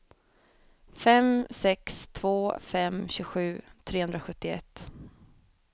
fem sex två fem tjugosju trehundrasjuttioett